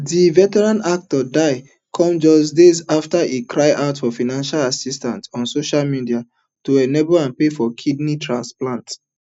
di veteran actor death come just days afta e cry out for financial assistance on social media to enable am pay for kidney transplant